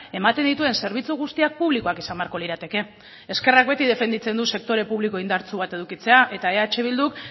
ematen dituen zerbitzu guztiak publikoak izan beharko lirateke ezkerrak beti defenditzen du sektore publiko indartsu bat edukitzea eta eh bilduk